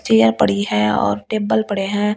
Chair पड़ी है और टेबल पड़े हैं।